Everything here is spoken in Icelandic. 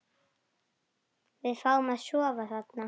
Við fáum að sofa þarna.